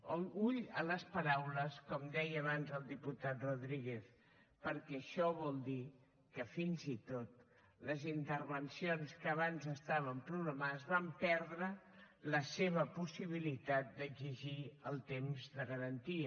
compte amb les paraules com deia abans el diputat rodríguez perquè això vol dir que fins i tot les intervencions que abans estaven programades van perdre la seva possibilitat d’exigir el temps de garantia